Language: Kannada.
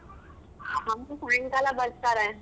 ಅಮ್ಮ ಸಾಯಂಕಾಲ ಬರ್ತಾರೇ.